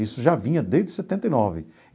Isso já vinha desde setenta e nove.